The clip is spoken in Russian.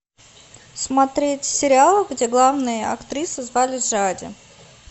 смотреть сериал где главную актрису звали жади